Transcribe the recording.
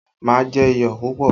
Má jẹ iyọ̀ púpọ̀!